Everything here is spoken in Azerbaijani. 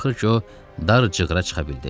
Axır ki, o dar cığırə çıxa bildi.